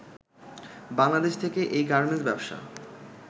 বাংলাদেশ থেকে এই গার্মেন্টস ব্যবসা